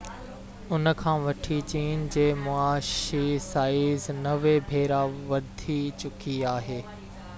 ان کان وٺي چين جي معاشي سائيز 90 ڀيرا وڌي چڪي آهي